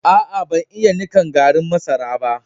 Aa, ban yi nikan garrin masaran ba.